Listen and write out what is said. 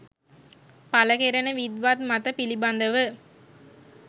පළ කෙරෙන විද්වත් මත පිළිබඳව